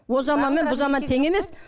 о заман мен бұл заман тең емес